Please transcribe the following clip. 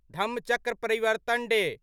Dhammachakra Pravartan day